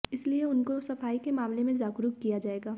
इसलिए उनको सफाई के मामले में जागरूक किया जाएगा